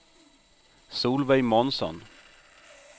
Solveig Månsson